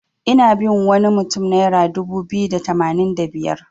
Ina bin wani mutun naira dubu biyu da tamanin da biyar.